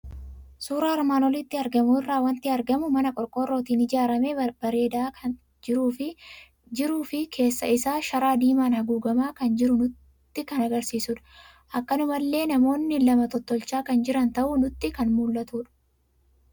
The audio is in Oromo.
Suuraa armaan olitti argamu irraa waanti argamu; mana qorqoorrootin ijaaramee babbareedaa kan jirufi keessa isaa sharaa diimaan haguugamaa kan jiru nutti kan agarsiisudha. Akkanumallee namoonni lama tottolchaa kan jiran ta'uu nutti kan mul'atudha.